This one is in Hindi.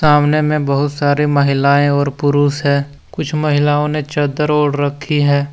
सामने में बहुत सारी महिलाएं और पुरुष है कुछ महिलाओं ने चद्दर ओढ़ रखी है।